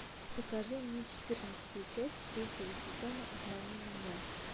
покажи мне четырнадцатую часть третьего сезона обмани меня